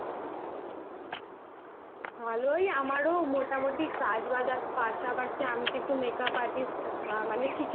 ভালই আমারও মোটামুটি কাজের পাশাপাশি আমি তো